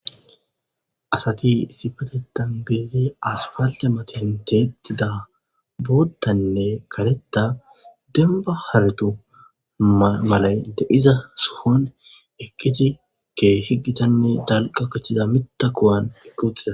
Asati issippeteththan gididi aspaltte matan tiyetida booththanne kareththa dembba haretu malay de7iza sohon eqqizzi keehi gitanne dalgga gidida miththa kuwan eqqi uttida.